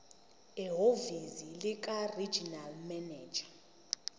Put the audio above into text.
ehhovisi likaregional manager